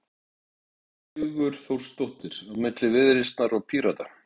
Sunna Karen Sigurþórsdóttir: Á milli Viðreisnar og Pírata?